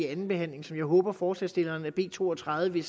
andenbehandling som jeg håber forslagsstillerne af b to og tredive